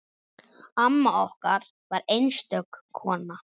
Amma okkar var einstök kona.